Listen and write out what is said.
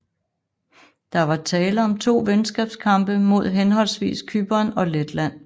Der var tale om to venskabskampe mod henholdsvis Cypern og Letland